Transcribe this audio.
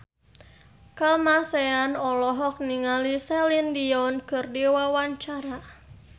Kamasean olohok ningali Celine Dion keur diwawancara